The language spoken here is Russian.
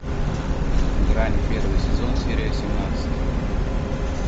грань первый сезон серия семнадцать